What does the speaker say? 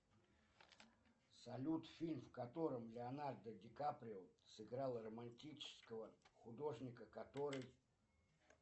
салют фильм в котором леонардо ди каприо сыграл романтического художника который